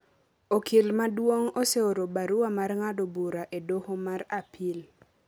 Okil maduong' oseoro barua mar ng’ado bura e doho mar Apil